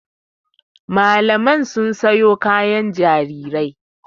Mamalai sun sayo kayan jarirai.